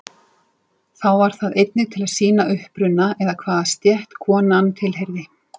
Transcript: Þá var það einnig til að sýna uppruna eða hvaða stétt konan tilheyrði.